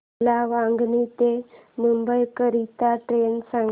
मला वांगणी ते मुंबई करीता ट्रेन सांगा